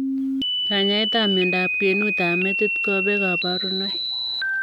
Kanyaet ap miondoop kwenuut ap metit kopee kaparunoik